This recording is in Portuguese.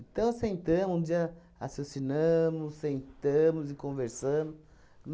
Então, sentamos, um dia raciocinamos, sentamos e conversamos.